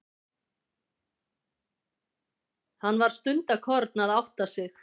Hann var stundarkorn að átta sig.